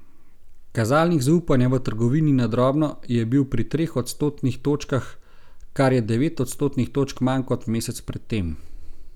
Kazalnik zaupanja v trgovini na drobno je bil pri treh odstotnih točkah, kar je devet odstotnih točk manj kot mesec pred tem.